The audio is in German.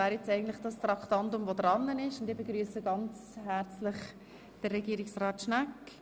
Nun wäre eigentlich das Traktandum 61 Juradelegation an der Reihe.